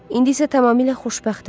İndi isə tamamilə xoşbəxtəm.